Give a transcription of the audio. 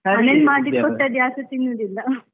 ಮಾಡಿದ್ ಕೊಟ್ರೆ ಅದುಯಾರೂಸ ತಿನ್ನುದಿಲ್ಲ.